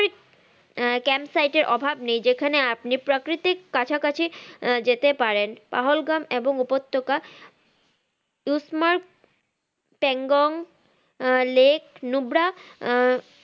আহ camp site অভাব নেই যেখানে আপনি প্রাকৃতিক কাছাকাছি আহ যেতে পারেন পাহোল গাম এবং উপত্যকা পেংগং আহ লেগ লুব্রা এবং আহ